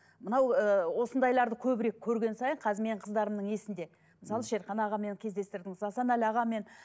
мынау ыыы осындайларды көбірек көрген сайын қазір менің қыздарымның есінде мысалы шерхан ағамен кездестірдім мысалы асанәлі ағамен